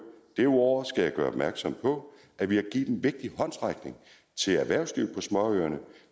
derudover skal jeg gøre opmærksom på at vi har givet en vigtig håndsrækning til erhvervslivet på småøerne